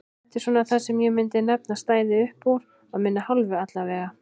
Þetta er svona það sem ég myndi nefna að stæði uppúr af minni hálfu allavega.